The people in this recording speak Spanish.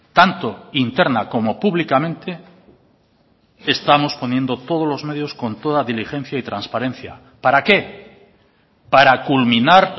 tanto interna como públicamente estamos poniendo todos los medios con toda diligencia y transparencia para qué para culminar